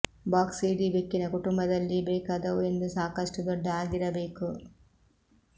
box ಇಡೀ ಬೆಕ್ಕಿನ ಕುಟುಂಬದಲ್ಲಿ ಬೇಕಾದವು ಎಂದು ಸಾಕಷ್ಟು ದೊಡ್ಡ ಆಗಿರಬೇಕು